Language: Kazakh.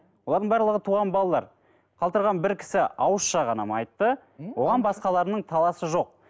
олардың барлығы туған балалар қалдырған бір кісі ауызша ғана айтты оған басқаларының таласы жоқ